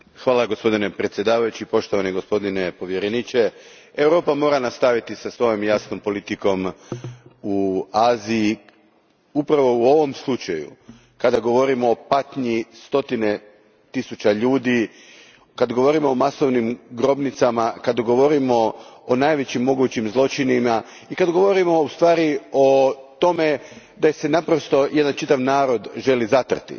Gospodine predsjedniče, gospodine povjereniče, Europa mora nastaviti sa svojom jasnom politikom u Aziji, upravo u ovom slučaju kada govorimo o patnji stotine tisuća ljudi, kad govorimo o masovnim grobnicama, kad govorimo o najvećim mogućim zločinima i kad govorimo u stvari o tome da se naprosto jedan čitav narod želi zatrti.